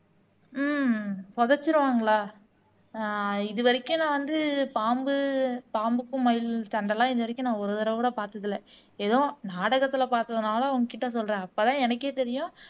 ஹம் புதைச்சிருவாங்களா ஆஹ் இது வரைக்கும் நான் வந்து பாம்பு பாம்புக்கும் மயில் சண்டை எல்லாம் இது வரைக்கும் நான் ஒரு தடவை கூட பார்த்ததில்லை ஏதோ நாடகத்துல பாத்ததுனால உன்கிட்ட சொல்றேன் அப்பதான் எனக்கே தெரியும்